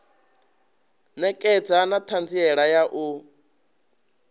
ṋekedza na ṱhanziela ya u